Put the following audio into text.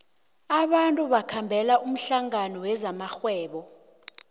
abantu bakhambela umhlangano wezamarhwebo